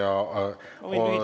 Ma võin lühidalt vastata.